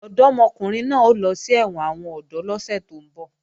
Ọ̀dọ́mọkùnrin náà ń lọ sí ẹ̀wọ̀n àwọn ọ̀dọ́ lọ́sẹ̀ tó ń bọ̀